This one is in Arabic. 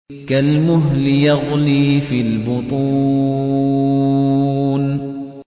كَالْمُهْلِ يَغْلِي فِي الْبُطُونِ